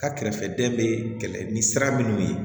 Ka kɛrɛfɛ den bɛ kɛlɛ ni sira minnu ye